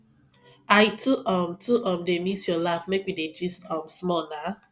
i too um too um dey miss your laugh make we dey gist um small nah